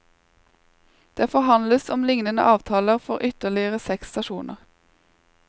Det forhandles om lignende avtaler for ytterligere seks stasjoner.